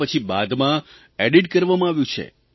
કે પછી બાદમાં એડિટ કરવામાં આવ્યું છે